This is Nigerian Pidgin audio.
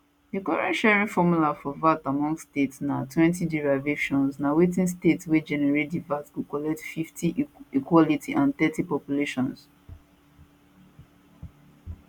di current sharing formula for vat among states natwentyderivation na wetin state wey generate di vat go collect 50 equality and thirty population